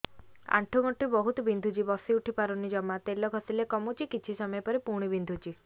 ଆଣ୍ଠୁଗଣ୍ଠି ବହୁତ ବିନ୍ଧୁଛି ବସିଉଠି ପାରୁନି ଜମା ତେଲ ଘଷିଲେ କମୁଛି କିଛି ସମୟ ପରେ ପୁଣି ବିନ୍ଧୁଛି